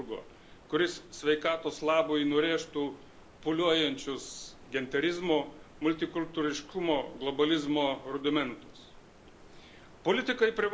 Reikia gero chirurgo, kuris sveikatos labui nurėžtų pūliuojančius genderizmo, multikultūriškumo, globalizmo argumentus.